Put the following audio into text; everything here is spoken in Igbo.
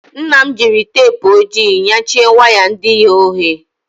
Nna m jiri teepụ ojii nyachie waya ndị ghe oghe.